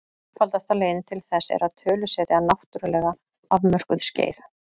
Einfaldasta leiðin til þess er að tölusetja náttúrlega afmörkuð skeið.